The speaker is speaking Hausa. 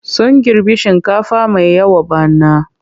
Sun girbi shinkafa mai yawa bana.